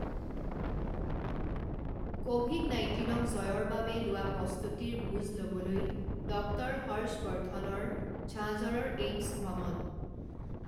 Covid নাইণ্টিনক জয়ৰ বাবে লোৱা প্ৰস্তুতিৰ বুজ ল বলৈ ডক্টৰ হৰ্ষৱৰ্দ্ধনৰ ঝাঁঝৰৰ এইমছ ভ্ৰমণ